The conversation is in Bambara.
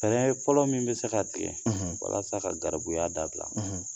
Fɛnrɛ fɔlɔ min bi se ka tigɛ walasa ka garibuya da bila